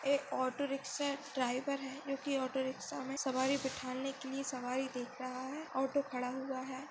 ये auto rickshaw driver है जोकी ऑटो रिक्षा मे सवारी बिठाने मे सवारी बिठाने के लिये सवारी देख रहा है ऑटो खडा हुआ है।